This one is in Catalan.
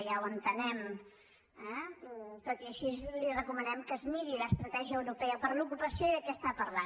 ja ho entenem eh tot i així li recomanem que es miri l’estratègia europea per l’ocupació i de què està parlant